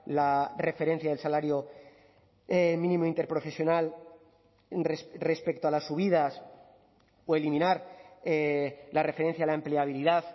la referencia del salario mínimo interprofesional respecto a las subidas o eliminar la referencia a la empleabilidad